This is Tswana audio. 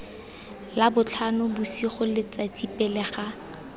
labotlhano bosigo letsatsi pele ga